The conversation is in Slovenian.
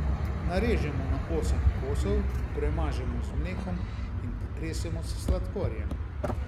Narežemo na osem kosov, premažemo z mlekom in potresemo s sladkorjem.